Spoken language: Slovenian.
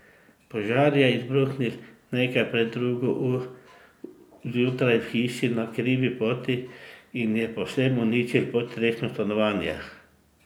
Požar je izbruhnil nekaj pred drugo uro zjutraj v hiši na Krivi poti in je povsem uničil podstrešno stanovanje.